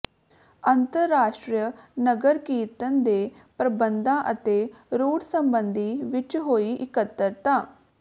ਅੰਤਰਰਾਸ਼ਟਰੀ ਨਗਰ ਕੀਰਤਨ ਦੇ ਪ੍ਰਬੰਧਾਂ ਅਤੇ ਰੂਟ ਸਬੰਧੀ ਵਿਚ ਹੋਈ ਇਕੱਤਰਤਾ